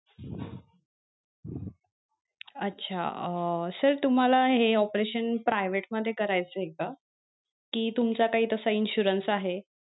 अच्छा अं sir तुम्हाला हे operation private मध्ये करायचय का? कि तुमचा काही तसा insurance आहे?